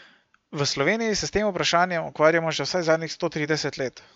V Sloveniji se s tem vprašanjem ukvarjamo že vsaj zadnjih sto trideset let.